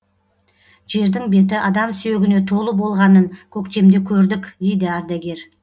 жердің беті адам сүйегіне толы болғанын көктемде көрдік дейді ардагер